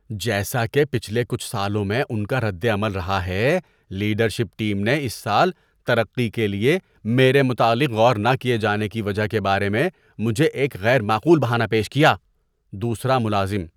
جیسا کہ پچھلے کچھ سالوں میں ان کا رد عمل رہا ہے، لیڈرشپ ٹیم نے اس سال ترقی کے لیے میرے متعلق غور نہ کیے جانے کی وجہ کے بارے میں مجھے ایک غیر معقول بہانہ پیش کیا۔ (دوسرا ملازم)